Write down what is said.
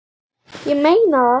Ég meina það!